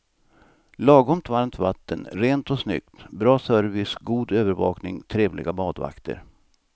Lagom varmt vatten, rent och snyggt, bra service, god övervakning, trevliga badvakter.